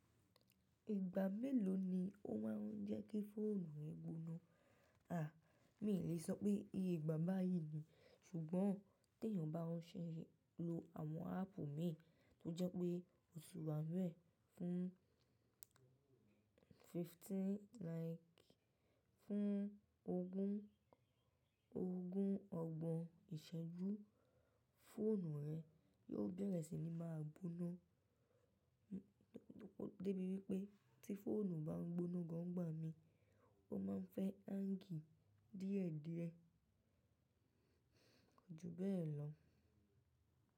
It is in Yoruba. Ìgbà mélòó ni ó máa ń jẹ́ kí fóònù rẹ gboná? Mi ò lè sọ pé iye igba báyìí ni, ṣùgbọ́n tí èèyàn bá ṣe lo àwọn ápp mìí tó jẹ́ pé ó ti wá nu e. Fún fifteen like fún ogún ogún ọgbọ̀n ìṣẹ́jú, fóònù rẹ yóò bere sì ni máa gboná. Débi wípé tí fóònù bá ń gboná gan n gbà mi, ó máa ń fẹ́ hángì díẹ̀díẹ̀. Koju bẹ́ẹ̀ lọ.